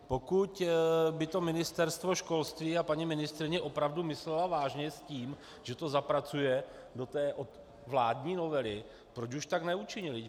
Pokud by to Ministerstvo školství a paní ministryně opravdu myslely vážně s tím, že to zapracují do té vládní novely, proč už tak neučinily?